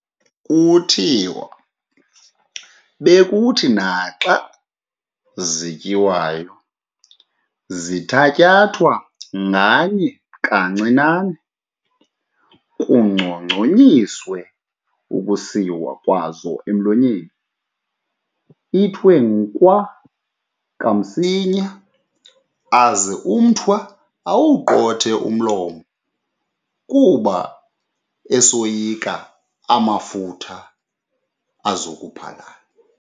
Kuthiwa bekuthi naxa zityiwayo zithatyathwe nganye kancinane, kucongconyiswe ukusiwa kwazo emlonyeni, ithiwe "nkwa kamsinya" , aze umThwa awuquthe umlomo, kuba esoyika amafutha azo kuphalala.